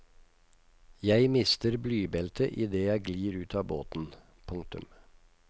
Jeg mister blybeltet idet jeg glir ut av båten. punktum